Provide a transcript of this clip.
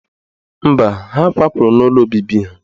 Mba, ha kwapụrụ n'ụlọ obibi ha